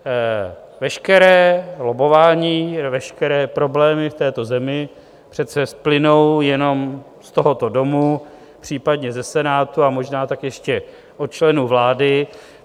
Veškeré lobbování, veškeré problémy v této zemi přece splynou jenom z tohoto domu, případně ze Senátu, a možná tak ještě od členů vlády.